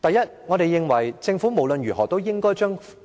第一，我們認為政府無論如何也應把